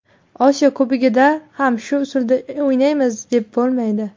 Osiyo Kubogida ham shu uslubda o‘ynaymiz deb bo‘lmaydi.